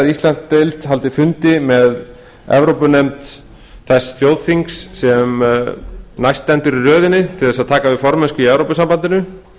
íslandsdeild haldi fund með evrópunefnd þess þjóðþings sem stendur næst í röðinni til þess að taka við formennsku í evrópusambandinu